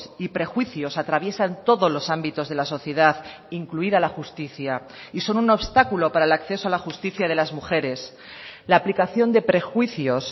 y prejuicios atraviesan todos los ámbitos de la sociedad incluida la justicia y son un obstáculo para el acceso a la justicia de las mujeres la aplicación de prejuicios